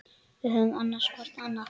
Við höfum annast hvor annan.